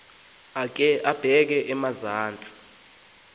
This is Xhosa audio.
akhe abeke emazantsi